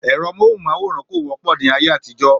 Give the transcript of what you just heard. Èro móhùn máwòrán kò wọ́pọ̀ ni ayé àtijó